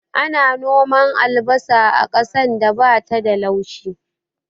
Ana noman albasa a ƙasan da bata da laushi